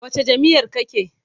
Wacce jam'iyyar kake?